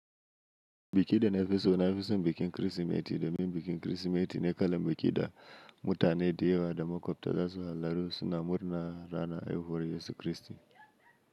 Biki da na fi so na fi son bikin Kirsimeti domin bikin Kirsimeti ne kalan biki da mutane da yawa da makwabta za su hallaru suna murna ranar haihuwar Yesu Kiristi.